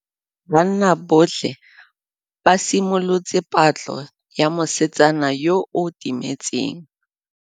Banna botlhê ba simolotse patlô ya mosetsana yo o timetseng.